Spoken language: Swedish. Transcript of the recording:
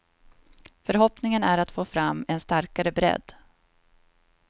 Förhoppningen är att få fram en starkare bredd.